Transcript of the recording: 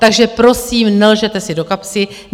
Takže prosím, nelžete si do kapsy!